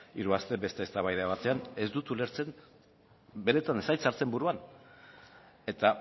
hiru aste beste eztabaida batean ez dut ulertzen benetan ez zait sartzen buruan eta